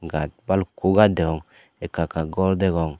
gaaj balukko gaaj degong ekka ekka gor degong.